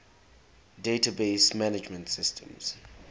database management systems